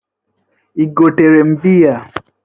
Ị gotere m bịya?